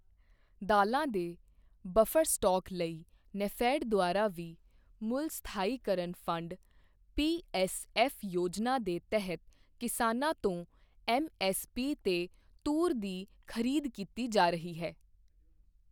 ਦਾਲ਼ਾਂ ਦੇ buffer stock ਲਈ ਨੈਫੈਡ ਦੁਆਰਾ ਵੀ ਮੁੱਲ ਸਥਾਈਕਰਨ ਫੰਡ ਪੀਐੱਸਐੱਫ ਯੋਜਨਾ ਦੇ ਤਹਿਤ ਕਿਸਾਨਾਂ ਤੋਂ ਐੱਮਐੱਸਪੀ ਤੇ ਤੂਰ ਦੀ ਖਰੀਦ ਕੀਤੀ ਜਾ ਰਹੀ ਹੈ।